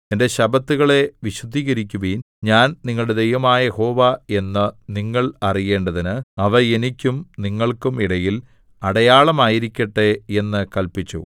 എന്റെ ശബ്ബത്തുകളെ വിശുദ്ധീകരിക്കുവിൻ ഞാൻ നിങ്ങളുടെ ദൈവമായ യഹോവ എന്ന് നിങ്ങൾ അറിയേണ്ടതിന് അവ എനിക്കും നിങ്ങൾക്കും ഇടയിൽ അടയാളമായിരിക്കട്ടെ എന്ന് കല്പിച്ചു